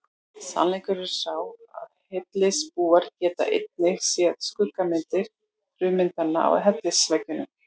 Sannleikurinn er sá að hellisbúar geta einungis séð skuggamyndir frummyndanna á hellisveggjunum.